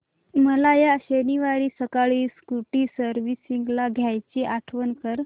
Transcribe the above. मला या शनिवारी सकाळी स्कूटी सर्व्हिसिंगला द्यायची आठवण कर